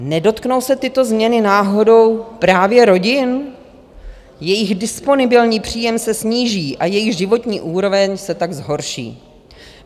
Nedotknou se tyto změny náhodou právě rodin, jejich disponibilní příjem se sníží a jejich životní úroveň se tak zhorší.